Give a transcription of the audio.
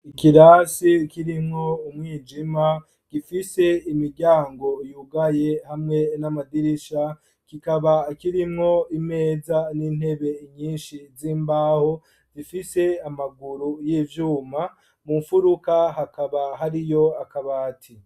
Ikirasi kirimwo umwijima gifise imiryango yugaye hamwe n'amadirisha ,kikaba kirimwo imeza n'intebe nyinshi z'imbaho zifise amaguru y'ivyuma ,mu mfuruka hakaba hariyo akabati.